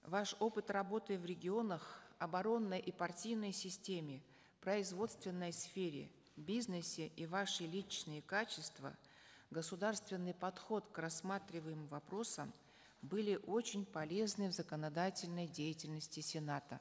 ваш опыт работы в регионах оборонной и партийной системе производственной сфере бизнесе и ваши личные качества государственный подход к рассматриваемым вопросам были очень полезны в законодательной деятельности сената